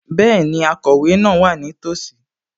Bẹ́ẹ̀ni, akọ̀wé náà wà nítòsí